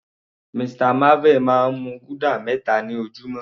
Mr marvel máa ń mu guda meta ni ojúmọ́.